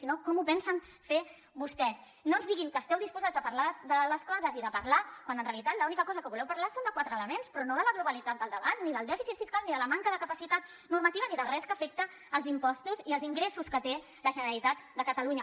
sino com ho pensen fer vostès no ens digueu que esteu disposats a parlar de les coses i de parlar quan en realitat l’única cosa que voleu parlar és de quatre elements però no de la globalitat del debat ni del dèficit fiscal ni de la manca de capacitat normativa ni de res que afecti els impostos i els ingressos que té la generalitat de catalunya